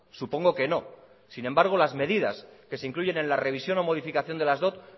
supongo que no sin embargo las medidas que se incluyen en la revisión o modificación de las dot